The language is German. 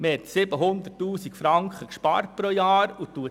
Wir haben 700 000 Franken pro Jahr eingespart.